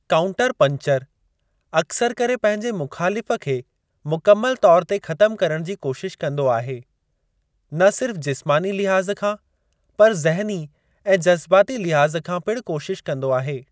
Counter puncher अक्सर करे पंहिंजे मुख़ालिफ़ खे मुकमल तौर ते ख़तम करणु जी कोशिश कंदो आहे, न सिर्फ़ जिस्मानी लिहाज़ खां, पर ज़हनी ऐं जज़्बाती लिहाज़ खां पिणु कोशिश कंदो आहे।